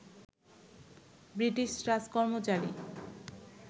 British রাজকর্মচারী